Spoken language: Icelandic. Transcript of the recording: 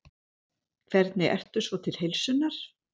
Hvernig ertu svo til heilsunnar?